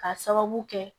K'a sababu kɛ